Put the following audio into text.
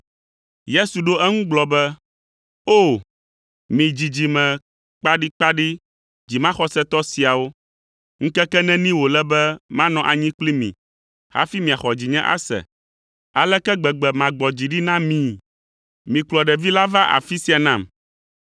Yesu ɖo eŋu gblɔ be, “O! Mi dzidzime kpaɖikpaɖi, dzimaxɔsetɔ siawo, ŋkeke neni wòle be manɔ anyi kpli mi hafi miaxɔ dzinye ase? Aleke gbegbe magbɔ dzi ɖi na mi? Mikplɔ ɖevi la va afi sia nam.”